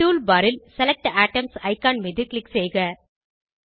tool bar ல் select items icon மீது click செய்க